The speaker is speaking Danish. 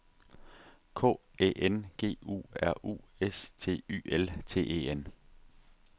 K Æ N G U R U S T Y L T E N